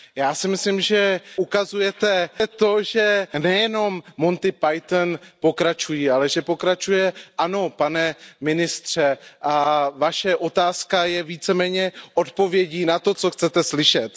Já si myslím, že ukazujete to, že nejenom Monty Python pokračují, ale že pokračuje Jistě, pane ministře a Vaše otázka je více méně odpovědí na to, co chcete slyšet.